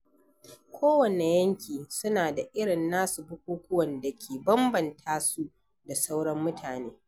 Ko wanne yanki suna da irin nasu bukukuwan da ke bambanta su da sauran mutane.